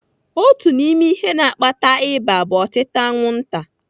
Otu n'ime ihe na-akpata ịba bụ otịta anwụnta.